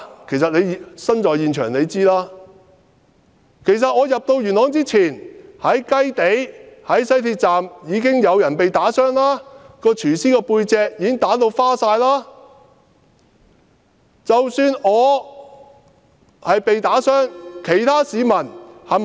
其實他身處現場應該知道，在我入元朗之前，在雞地、西鐵站已經有人被打傷，有一名廚師被人打至背部傷痕累累。